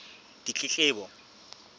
ditletlebo